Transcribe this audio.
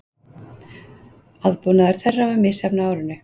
Aðbúnaður þeirra var misjafn á árinu